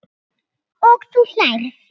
Og þú hlærð?